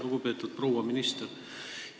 Lugupeetud proua minister!